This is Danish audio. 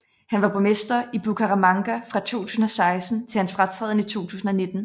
Han var borgmester i Bucaramanga fra 2016 til hans fratræden i 2019